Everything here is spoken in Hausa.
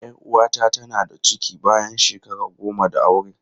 Yar uwata tana da ciki bayan shekara goma da aure.